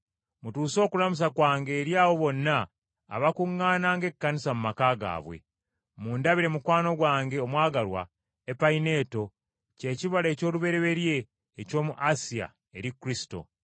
Mutuuse okulamusa kwange eri abo bonna abakuŋŋaana ng’ekkanisa mu maka gaabwe. Mundabire mukwano gwange omwagalwa Epayineeto, kye kibala eky’olubereberye eky’omu Asiya eri Kristo.